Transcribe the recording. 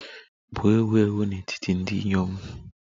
bụ ewu ewu n'etiti ndị inyom